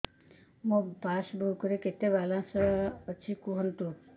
ମୋ ପାସବୁକ୍ ରେ କେତେ ବାଲାନ୍ସ କୁହନ୍ତୁ